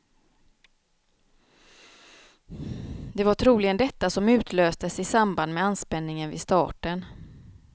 Det var troligen detta som utlöstes i samband med anspänningen vid starten.